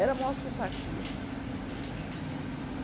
Era a maior simpatia.